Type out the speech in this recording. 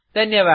धन्यवाद